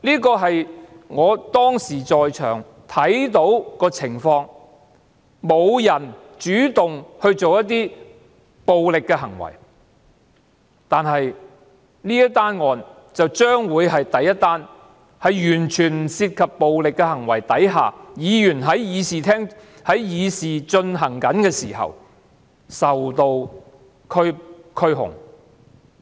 這是我當時在場看到的情況，無人主動作出暴力的行為，但這宗案件將會是第一宗在完全不涉及暴力行為的情況下，議員因為在議事廳議事時發生的事情而受到拘控。